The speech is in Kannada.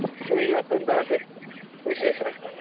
ನಿಮಿಗೆ ಇವತ್ತೆಂತಾ ಮತ್ತೆ ವಿಶೇಷ.